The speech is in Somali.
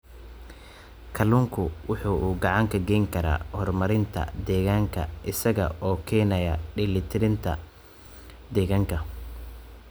Kalluunku waxa uu gacan ka geysan karaa horumarinta deegaanka isaga oo keenaya dheelitirnaanta deegaanka.